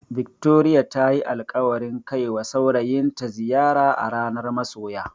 Victoria tayi alƙawarin kaiwa saurayinta ziyara a ranar masoya.